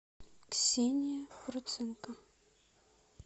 ксения проценко